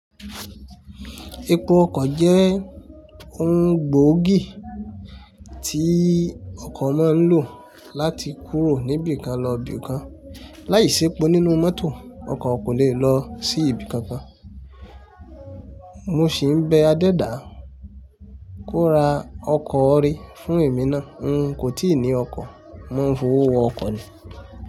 Epo ọkọ̀ jẹ́ ohun gbòógì tí ọkọ̀ máa ń lò láti kúrò níbi kan lọ ibi kan. Láìsí epo nínú mọ́tò, ọkọ̀ kò lè lọ sí ibi kankan. Mo sì ń bẹ Adẹdá ko ra ọkọ̀ íre fún èmi náà. N kò tíì ní ọkọ̀, mò ń fowó wọ ọkọ̀ ni.